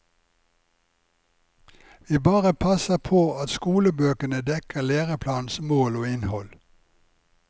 Vi bare passer på at skolebøkene dekker læreplanens mål og innhold.